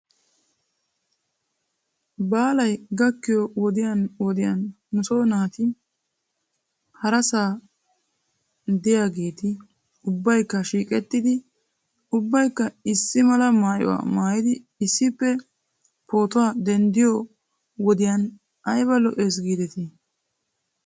Baalay gakkiyoo wodiyan wodiyan nuso naati harasa diyaageeti ubbaykka shiiqettidi ubbaykka issi mala maayuwaa maayidi issippe pootuwaa denddiyoo wodiyan ayba lo'es giidetii?